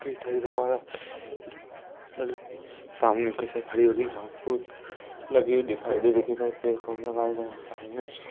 सामने की ओर हरी भरी घास फूस लगी हुई दिखाई दे रही है कई सारे पेड़ पौधे लगाए गए हैं सामने--